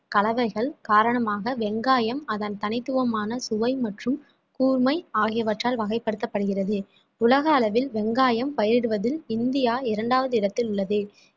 கலவைகள் காரணமாக வெங்காயம் அதன் தனித்துவமான சுவை மற்றும் கூர்மை ஆகியவற்றால் வகைப்படுத்தப்படுகிறது உலக அளவில் வெங்காயம் பயிரிடுவதில் இந்தியா இரண்டாவது இடத்தில் உள்ளது